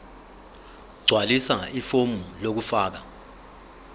gqwalisa ifomu lokufaka